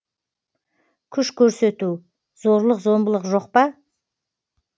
күш көрсету зорлық зомбылық жоқ па